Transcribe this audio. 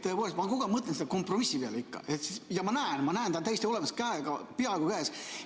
Tõepoolest, ma kogu aeg mõtlen selle kompromissi peale ja ma näen, et ta on täiesti olemas, peaaegu käes.